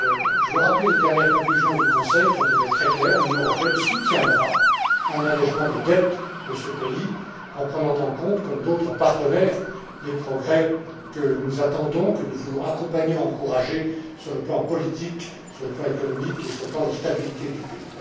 Je veux rappeler les dernières conclusions du Conseil, qui ont été très claires l'Union européenne soutiendra un allégement de la dette de ce pays, en prenant en compte comme d'autres partenaires les progrès que nous attendons, que nous voulons accompagner et encourager sur le plan politique, sur le plan économique et sur le plan de la stabilité du pays.